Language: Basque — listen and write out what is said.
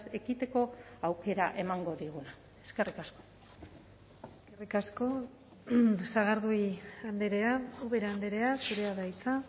ekiteko aukera emango diguna eskerrik asko eskerrik asko sagardui andrea ubera andrea zurea da hitza